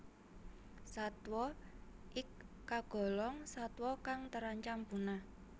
Satwa ik kagolong satwa kang terancam punah